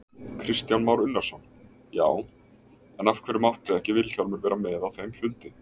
Kristján Már Unnarsson: Já, en af hverju mátti ekki Vilhjálmur vera með á þeim fundi?